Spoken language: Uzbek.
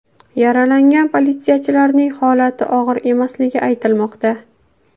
Yaralangan politsiyachilarning holati og‘ir emasligi aytilmoqda.